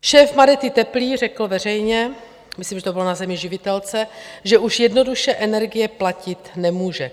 Šéf Madety Teplý řekl veřejně - myslím, že to bylo na Zemi živitelce - že už jednoduše energie platit nemůže.